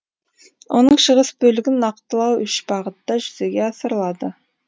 оның шығыс бөлігін нақтылау үш бағытта жүзеге асырылады